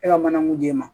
E ka mana mun d'e ma